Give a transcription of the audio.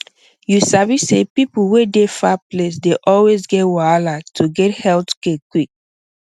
you sabi say people wey dey far place dey always get wahala to get health care quick